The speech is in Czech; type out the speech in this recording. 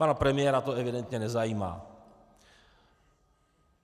Pana premiéra to evidentně nezajímá.